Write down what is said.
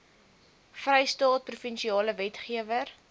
vrystaat provinsiale wetgewer